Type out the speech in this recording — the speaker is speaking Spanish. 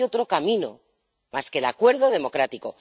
No hay otro camino más que el acuerdo democrático.